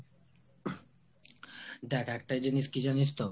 দেখ একটা জিনিস কি জানিস তো